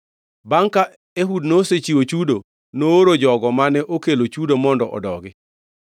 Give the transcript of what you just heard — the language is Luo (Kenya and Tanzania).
Bangʼ ka Ehud nosechiwo chudo, nooro jogo mane okelo chudo mondo odogi.